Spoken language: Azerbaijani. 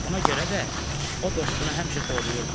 Buna görə də o dostunu həmişə qoruyurdu.